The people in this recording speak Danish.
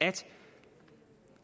at